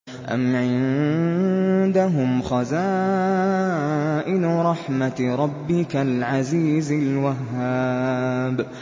أَمْ عِندَهُمْ خَزَائِنُ رَحْمَةِ رَبِّكَ الْعَزِيزِ الْوَهَّابِ